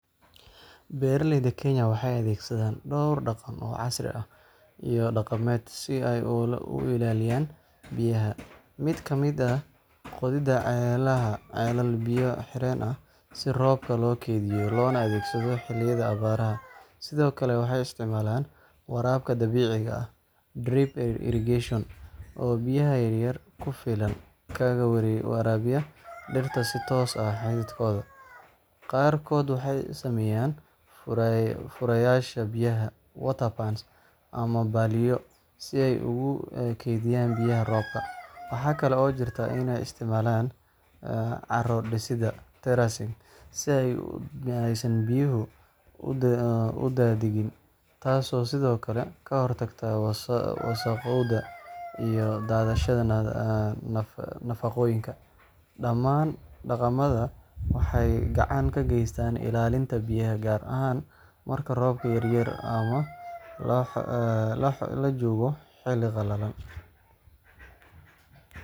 Beeraleyda Kenya waxay adeegsadaan dhowr dhaqan oo casri ah iyo dhaqameed si ay u ilaaliyaan biyaha. Mid ka mid ah waa qodidda ceelal biyo xireen ah si roobka loo kaydiyo loona adeegsado xilliyada abaaraha. Sidoo kale, waxay isticmaalaan waraabka dhibicda ah (drip irrigation) oo biyo yar ku filan kaga waraabiya dhirta si toos ah xididkooda. Qaarkood waxay sameeyaan furayaasha biyaha (water pans)ama balliyo si ay ugu kaydiyaan biyaha roobka. Waxaa kale oo jirta in ay isticmaalaan carro-dhisidda (terracing) si aysan biyaha u daadagin, taasoo sidoo kale ka hortagta wasakhowga iyo daadashada nafaqooyinka. Dhamaan dhaqamadan waxay gacan ka geystaan ilaalinta biyaha, gaar ahaan marka roobka yaryahay ama la joogo xilli qalalan.